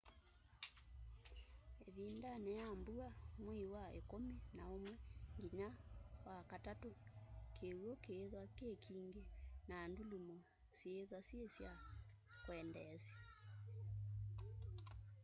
ivindani ya mbua mwei wa ikumi na umwe nginya wakatatu kiwu kiithwa ki kingi na ndulumo syiithwa syi sya kwendeesya